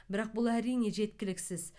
бірақ бұл әрине жеткіліксіз